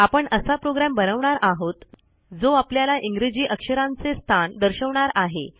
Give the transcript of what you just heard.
आपण असा प्रोग्रॅम बनवणार आहोत जो आपल्याला इंग्रजी अक्षरांचे स्थान दर्शवणार आहे